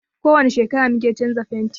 Ko wani shekara mu ke canza fentin.